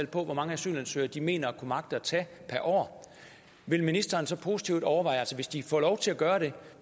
hvor mange asylansøgere de mener at kunne magte at tage per år vil ministeren så positivt overveje altså hvis de får lov til at gøre det